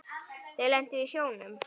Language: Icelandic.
Þau lentu í sjónum.